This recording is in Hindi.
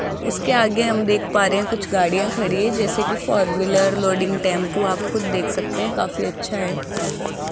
उसके आगे हम देख पा रहे हैं कुछ गाड़ियां खड़ी है जैसे की फोर व्हीलर लोडिंग टेंपो आप खुद देख सकते हैं काफी अच्छा है।